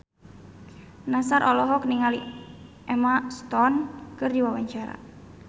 Nassar olohok ningali Emma Stone keur diwawancara